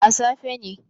A safe ne